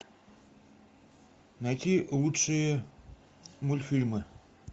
найти лучшие мультфильмы